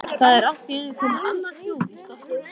Það er allt í einu komið annað hljóð í strokkinn.